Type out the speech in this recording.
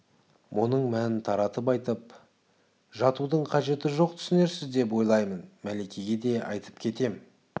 мұның мәнін таратып айтып жатудың қажеті жоқ түсінерсіз деп ойлаймын мәликеге де айтып кетем